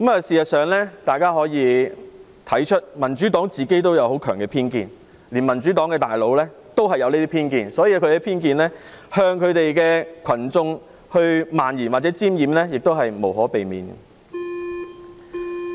事實上，大家可以看到民主黨有很強的偏見，連他們的高層也有這些偏見，因此，他們向群眾渲染這種偏見也是無可避免。